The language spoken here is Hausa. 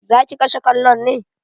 Zaki kashe kallon ne?